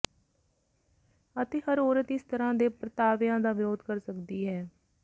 ਅਤੇ ਹਰ ਔਰਤ ਇਸ ਤਰ੍ਹਾਂ ਦੇ ਪਰਤਾਵਿਆਂ ਦਾ ਵਿਰੋਧ ਕਰ ਸਕਦੀ ਹੈ